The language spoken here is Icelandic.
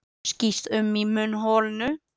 Skýst um í munnholinu.